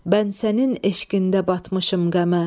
mən sənin eşqində batmışım qəmə.